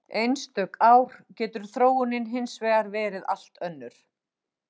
Einstök ár getur þróunin hins vegar verið allt önnur.